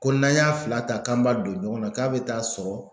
Ko n'an y'a fila ta k'an b'a don ɲɔgɔnna k'a bɛ taa sɔrɔ